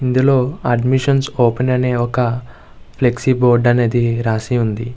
ఇందులో admission open అనే ఒక ఫ్లెక్స్ బోర్డు అనేది రాసి వుంది.